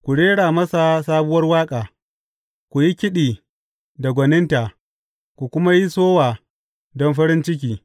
Ku rera masa sabuwar waƙa; ku yi kiɗi da gwaninta, ku kuma yi sowa don farin ciki.